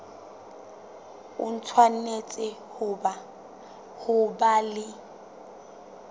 o tshwanetse ho ba le